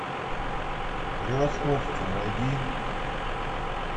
превосходство найди